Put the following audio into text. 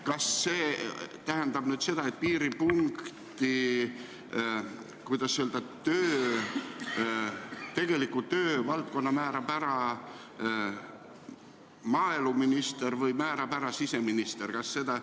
Kas see tähendab, et piiripunkti tegeliku töövaldkonna määrab maaeluminister või siseminister?